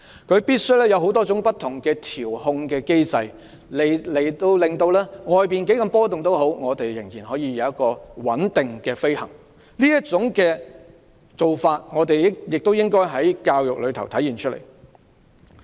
他必須有多種不同的調控技術，無論外面氣流如何波動，飛機仍然能穩定飛行，這種做法亦應該在教育上體現出來。